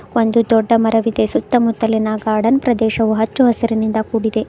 ಒಂದು ದೊಡ್ಡ ಮರವಿದೆ ಸುತ್ತಮುತ್ತಲಿನ ಗಾರ್ಡನ್ ಪ್ರದೇಶವು ಹಚ್ಚು ಹಸಿರಿನಿಂದ ಕೂಡಿದೆ.